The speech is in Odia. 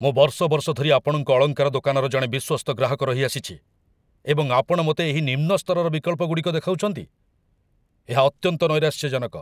ମୁଁ ବର୍ଷ ବର୍ଷ ଧରି ଆପଣଙ୍କ ଅଳଙ୍କାର ଦୋକାନର ଜଣେ ବିଶ୍ୱସ୍ତ ଗ୍ରାହକ ରହିଆସିଛି, ଏବଂ ଆପଣ ମୋତେ ଏହି ନିମ୍ନ ସ୍ତରର ବିକଳ୍ପଗୁଡ଼ିକ ଦେଖାଉଛନ୍ତି? ଏହା ଅତ୍ୟନ୍ତ ନୈରାଶ୍ୟଜନକ।